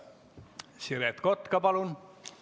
Siret Kotka, palun!